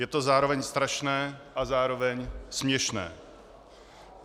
Je to zároveň strašné a zároveň směšné.